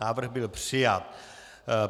Návrh byl přijat.